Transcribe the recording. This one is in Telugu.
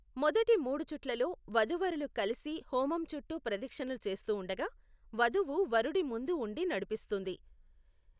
మొదటి మూడు చుట్లలో, వధూవరులు కలిసి హోమం చుట్టూ ప్రదక్షిణలు చేస్తూ ఉండగా, వధువు వరుడి ముందు ఉండి నడిపిస్తుంది.